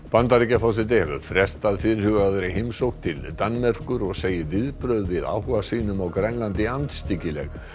Bandaríkjaforseti hefur frestað fyrirhugaðri heimsókn til Danmerkur og segir viðbrögð við áhuga sínum á Grænlandi andstyggileg